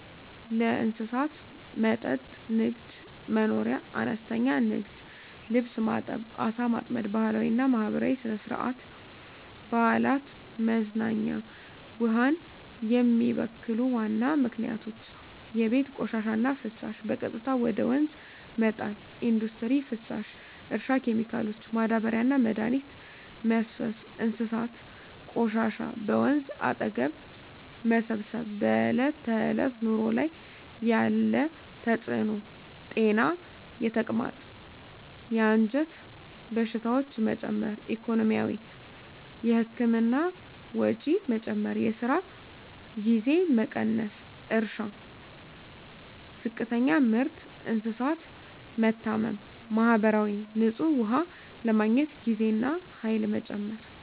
ለእንስሳት መጠጥ ንግድ/መኖርያ – አነስተኛ ንግድ (ልብስ ማጠብ፣ ዓሣ ማጥመድ) ባህላዊና ማህበራዊ – ሥነ-ሥርዓት፣ በዓላት፣ መዝናኛ ውሃን የሚበክሉ ዋና ምክንያቶች የቤት ቆሻሻና ፍሳሽ – በቀጥታ ወደ ወንዝ መጣል ኢንዱስትሪ ፍሳሽ – እርሻ ኬሚካሎች – ማዳበሪያና መድኃኒት መፍሰስ እንስሳት ቆሻሻ – በወንዝ አጠገብ መሰብሰብ በዕለት ተዕለት ኑሮ ላይ ያለ ተጽዕኖ ጤና – የተቅማጥ፣ የአንጀት በሽታዎች መጨመር ኢኮኖሚ – የህክምና ወጪ መጨመር፣ የስራ ጊዜ መቀነስ እርሻ – ዝቅተኛ ምርት፣ እንስሳት መታመም ማህበራዊ – ንጹህ ውሃ ለማግኘት ጊዜና ኃይል መጨመር